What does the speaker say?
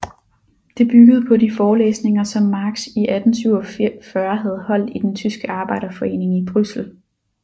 Det byggede på de forelæsninger som Marx i 1847 havde holdt i den tyske arbejderforeningen i Bryssel